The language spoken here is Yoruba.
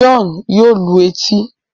John yóò lù etí